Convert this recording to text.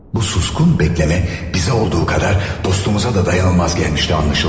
Bu səssiz gözləmə bizim üçün olduğu qədər dostumuz üçün də dözülməz gəlmişdi anlaşılan.